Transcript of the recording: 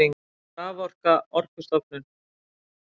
Raforka Orkustofnun.